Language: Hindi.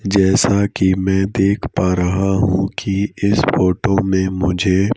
जैसा कि मैं देख पा रहा हूं कि इस फोटो में मुझे--